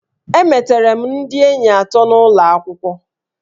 Emetere m ndị enyi atọ n'ụlọ akwụkwọ